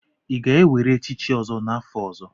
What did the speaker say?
Ị ga-ewere echichi ọzọ n'afọ ọzọ?